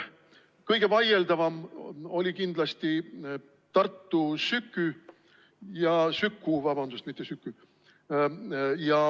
Kõige vaieldavam oli kindlasti Tartu Süku.